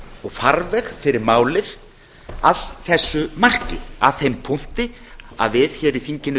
og farveg fyrir málið að þessu marki að þeim punkti að við hér í þinginu